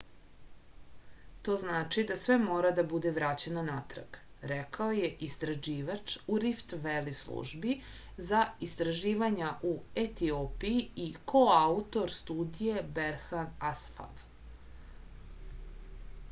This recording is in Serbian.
to znači da sve mora da bude vraćeno natrag rekao je istraživač u rift veli službi za istraživanja u etiopiji i koautor studije berhan asfav